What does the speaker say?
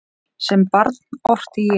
Sem barn orti ég.